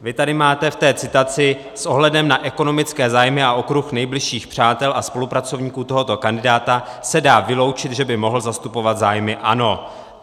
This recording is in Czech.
Vy tady máte v té citaci - s ohledem na ekonomické zájmy a okruh nejbližších přátel a spolupracovníků tohoto kandidáta se dá vyloučit, že by mohl zastupovat zájmy ANO.